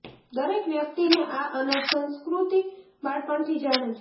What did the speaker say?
દરેક વ્યક્તિને આ અનાજ સંસ્કૃતિ બાળપણથી જાણે છે